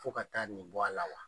Fɔ ka taa nin bɔ a la wa?